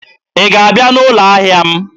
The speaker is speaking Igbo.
ị ga-abịa n'ụlọ ahịa m?